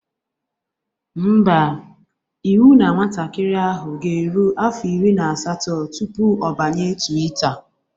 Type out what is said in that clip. Ḿbà, iwu na nwatakịrị ahụ ga-eru afọ iri na asatọ tụpụ ọ banye twita